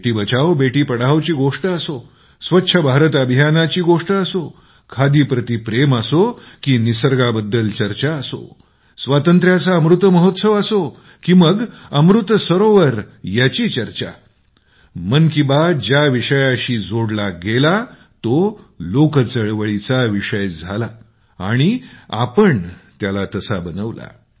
बेटी बचाओबेटी पढाओची गोष्ट असो स्वच्छ भारत अभियानाची गोष्ट असो खादी प्रती प्रेम असो की निसर्गाबद्दल चर्चा असो स्वातंत्र्याचा अमृत महोत्सव असो की मग अमृत सरोवर याची चर्चा मन की बात ज्या विषयाशी जोडला गेला तो लोक आंदोलनाचा विषय झाला आणि आपण लोकांनी त्याला तसा बनवला